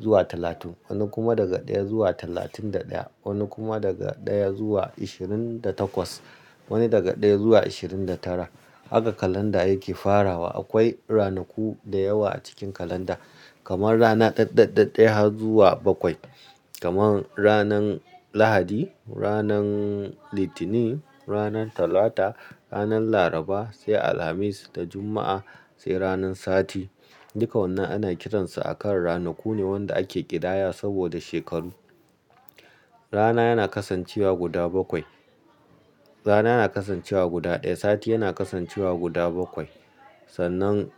zuwa talatin, wani kuma daga ɗaya zuwa talatin da ɗaya, wani kuma daga ɗaya zuwa ashirin da takwas, wani daga ɗaya zuwa ashirin da tara. Haka kalanda yake farawa. Akwai ranaku da yawa a cikin kalanda, kamar rana ɗaɗaɗaɗaya zuwa bakwai. Kaman ranan Lahadi, ranan Litinin, ranan Talata, ranan Laraba sai Alhamis da Juma'a sai ranan Sati. Duka wannan ana kiransu a kan ranaku ne wanda ake ƙidaya saboda shekaru. Rana yana kasancewa guda bakwai. Rana yana kasancewa guda ɗaya, sati yana kasancewa guda bakwai. Sannan.